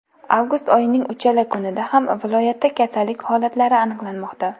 Avgust oyining uchala kunida ham viloyatda kasallik holatlari aniqlanmoqda.